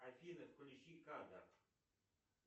афина включи кадр